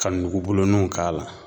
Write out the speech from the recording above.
Ka nugubulunuw k'a la.